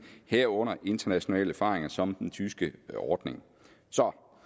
herunder internationale erfaringer som den tyske ordning som